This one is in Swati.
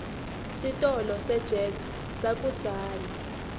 sitolo sejet sakudzala